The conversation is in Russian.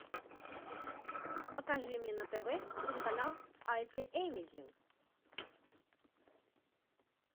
покажи мне на тв телеканал азия эмезин